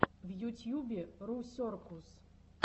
в ютьюбе русеркус